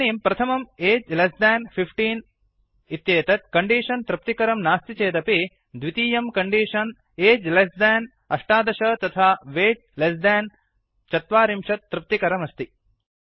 इदानीं प्रथमं age less than १५ इत्येतत् कण्डीषन् तृप्तिकरं नास्ति चेदपि द्वितीयं कण्डीषन् एज् लेस्देन् १८ तथा वैट् लेस्देन् ४० तृप्तिकरमस्ति